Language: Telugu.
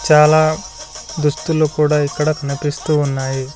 చాలా దుస్తులు కూడా ఇక్కడ కనిపిస్తూ ఉన్నాయి.